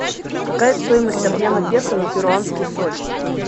какая стоимость обмена песо на перуанский соль